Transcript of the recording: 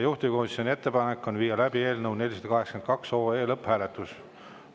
Juhtivkomisjoni ettepanek on viia läbi eelnõu 482 lõpphääletus.